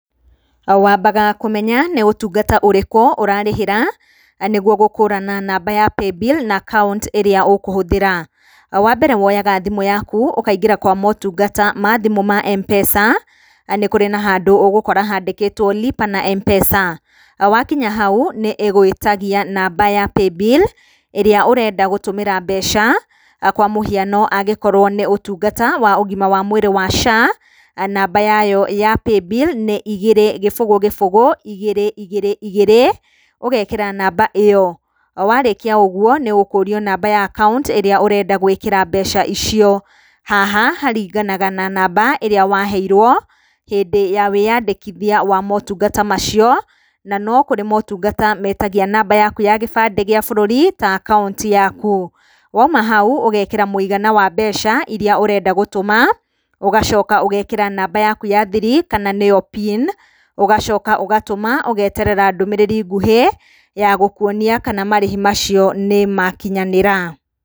Wambaga kũmenya nĩ utungata ũrĩkũ ũrarĩhĩra nĩguo gũkũrana namba ya paybill na account ĩrĩa ũkũhũthĩra. Wambere woyaga thimũ yaku, ũkaingira motungata ma thimũ ma Mpesa nĩ kũrĩ na handũ ũgũkora handĩkĩto lipa na Mpesa, wakinya hau nĩ ĩgwĩtagia namba ya paybill ĩrĩa ũrenda gũtũmĩra mbeca, kwa mũhiano angĩkorwo nĩ ũtungata wa ũgima wa mwĩrĩ wa SHA, namba yayo ya paybill nĩ igĩrĩ, gĩbũgũ gĩbũgũ igĩrĩ igĩrĩ igĩrĩ. ũgekĩra namba ĩyo, warĩkia ũguo nĩ ũkũrio namba ya account ĩrĩa ũrenda gwĩkĩra mbeca icio. Haha haringanaga na mamba ĩrĩa waheirwo hĩndĩ ya wĩyandĩkithia wa motungata macio,. Na no kũrĩ motungata metagia namba yaku ya gĩbandĩ gĩa bũrũri ta account yaku. Wauma hau ũgĩkĩra mũigana wa mbeca iria ũrenda gũtũma, ũgacoka ũgekĩra namba yaku ya thiri kana nĩyo pin, ũgacoka ũgatũma, ũgeterera ndũmĩrĩri ngũhĩ ya gũkuonia kana marĩhi macio nĩmakinyanĩra.